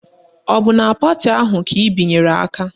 Ọ bụ na pati ahụ ka ị binyere aka?